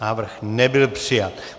Návrh nebyl přijat.